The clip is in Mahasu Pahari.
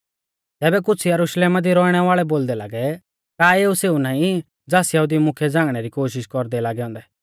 तैबै कुछ़ यरुशलेमा दी रौइणै वाल़ै बोलदै लागै का एऊ सेऊ नाईं ज़ास यहुदी मुख्यै झ़ांगणै री कोशिष कौरदै ई लागै औन्दै